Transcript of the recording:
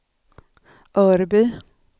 Örby